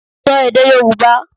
Sọ èdè Yòrùbá!